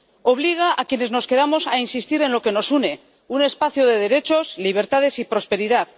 obliga a quienes nos quedamos a insistir en lo que nos une un espacio de derechos, libertades y prosperidad